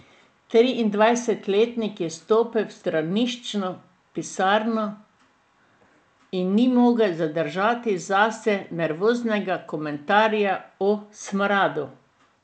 Triindvajsetletnik je stopil v straniščno pisarno in ni mogel zadržati zase nervoznega komentarja o smradu.